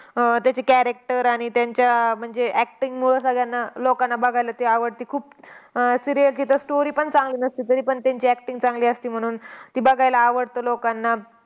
अह त्याचे character आणि त्यांच्या म्हणजे acting मुळं सगळयांना लोकांना बघायला ते आवडतं खूप. अह serial तिथं story पण चांगली नसते. तरीपण त्यांची acting चांगली असते. म्हणून ती बघायला आवडतं लोकांना.